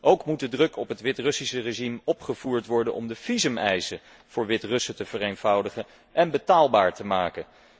Ook moet de druk op het Wit Russische regime opgevoerd worden om de visumeisen voor Wit Russen te vereenvoudigen en betaalbaar te maken.